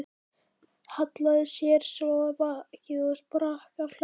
Hallaði sér svo á bakið og sprakk af hlátri.